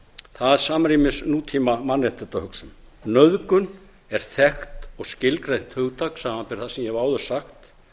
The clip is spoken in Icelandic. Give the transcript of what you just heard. það samrýmist nútíma mannréttindahugsun nauðgun er þekkt og skilgreint hugtak samanber það sem ég hef áður sagt